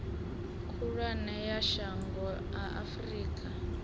khulwane ya shango a afurika